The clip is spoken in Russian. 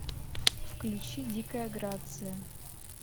включи дикая грация